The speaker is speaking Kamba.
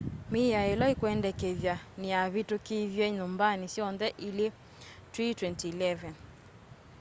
miao ila ikwendekethwa niyavitukithiwe nyumbani syonthe ili twi 2011